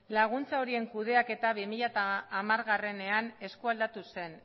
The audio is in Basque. laguntza horien kudeaketa bi mila hamarean eskualdatu zen